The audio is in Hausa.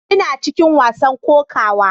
Ina cikin wasan kokawa.